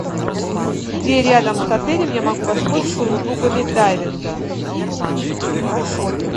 где рядом с отелем я могу воспользоваться услугами дайвинга